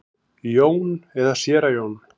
Jón og séra Jón.